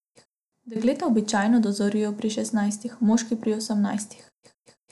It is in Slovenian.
Dekleta običajno dozorijo pri šestnajstih, moški pri osemnajstih.